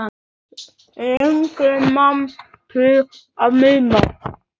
Lengi man til lítilla stunda